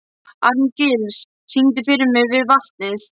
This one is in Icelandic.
Arngils, syngdu fyrir mig „Við vatnið“.